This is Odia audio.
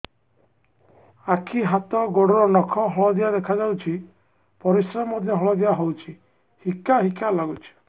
ଆଖି ହାତ ଗୋଡ଼ର ନଖ ହଳଦିଆ ଦେଖା ଯାଉଛି ପରିସ୍ରା ମଧ୍ୟ ହଳଦିଆ ହଉଛି ହିକା ହିକା ଲାଗୁଛି